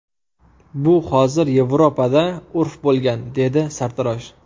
Bu hozir Yevropada urf bo‘lgan”, – dedi sartarosh.